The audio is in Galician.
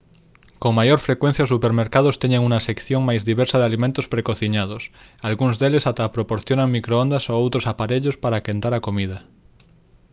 con maior frecuencia os supermercados teñen unha sección máis diversa de alimentos precociñados algúns deles ata proporcionan microondas ou outros aparellos para quentar a comida